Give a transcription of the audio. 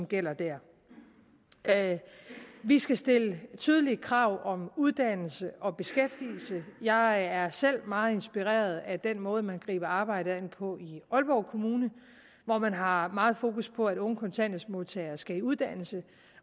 gælder der vi skal stille tydelige krav om uddannelse og beskæftigelse jeg er selv meget inspireret af den måde man griber arbejdet an på i aalborg kommune hvor man har meget fokus på at unge kontanthjælpsmodtagere skal i uddannelse